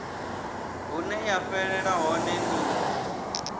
hune ya fhelela hone ni